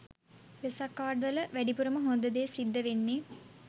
Vesak card වල වැඩිපුරම හොද දේ සිද්ද වෙන්නේ